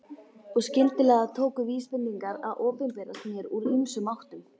Og skyndilega tóku vísbendingar að opinberast mér úr ýmsum áttum.